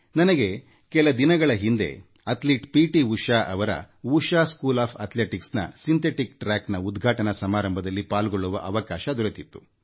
ನನಗೆ ಕೆಲ ದಿನಗಳ ಹಿಂದೆ ಅಥ್ಲಿಟ್ ಪಿ ಟಿ ಉಷಾ ಅವರ ಉಶಾ ಅಥ್ಲೆಟಿಕ್ಸ್ ಶಾಲೆಯ ಸಿಂಥೆಟಿಕ್ ಟ್ರಾಕ್ ಉದ್ಘಾಟನಾ ಸಮಾರಂಭದಲ್ಲಿ ಪಾಲ್ಗೊಳ್ಳುವ ಅವಕಾಶ ದೊರೆತಿತ್ತು